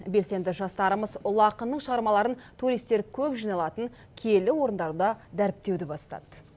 белсенді жастарымыз ұлы ақынның шығармаларын туристер көп жиналатын киелі орындарда дәріптеуді бастады